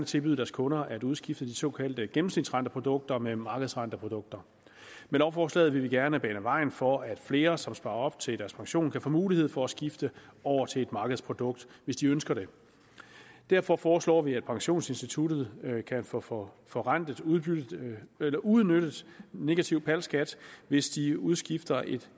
tilbyde deres kunder at udskifte de såkaldte gennemsnitsrenteprodukter med markedsrenteprodukter med lovforslaget vil vi gerne bane vejen for at flere som sparer op til deres pension kan få mulighed for at skifte over til et markedsprodukt hvis de ønsker det derfor foreslår vi at pensionsinstituttet kan få få forrentet uudnyttet negativ skat hvis de udskifter et